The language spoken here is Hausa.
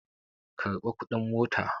Karɓa kuɗin mota!